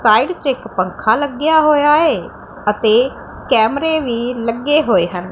Side 'ਚ ਇੱਕ ਪੰਖਾ ਲੱਗਿਆ ਹੋਇਆ ਏ ਅਤੇ ਕੈਮਰੇ ਵੀ ਲੱਗੇ ਹੋਏ ਹਨ।